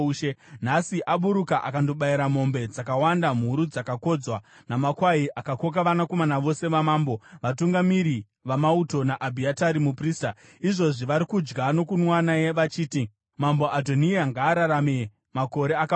Nhasi aburuka akandobayira mombe dzakawanda, mhuru dzakakodzwa, namakwai. Akoka vanakomana vose vamambo, vatungamiri vamauto naAbhiatari muprista. Izvozvi vari kudya nokunwa naye vachiti, ‘Mambo Adhoniya ngaararame makore akawanda!’